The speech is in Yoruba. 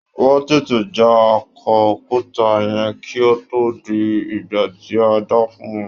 Wón tètè já akọ òkúta yẹn kí ó tó di ìgbà tí a dá fún wọn.